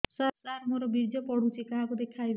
ସାର ମୋର ବୀର୍ଯ୍ୟ ପଢ଼ୁଛି କାହାକୁ ଦେଖେଇବି